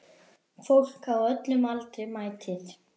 Fólk á öllum aldri mætir.